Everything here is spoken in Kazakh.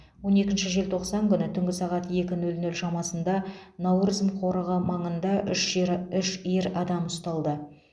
он екінші желтоқсан күні түнгі сағат екі нөл нөл шамасында науырзым қорығы маңында үш ера үш ер адам ұсталды